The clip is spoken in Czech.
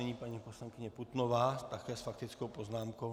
Nyní paní poslankyně Putnová také s faktickou poznámkou.